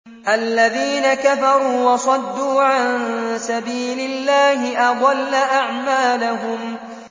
الَّذِينَ كَفَرُوا وَصَدُّوا عَن سَبِيلِ اللَّهِ أَضَلَّ أَعْمَالَهُمْ